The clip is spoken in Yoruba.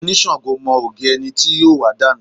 Onisango mọ ògì ẹni tí yóò wà dànù.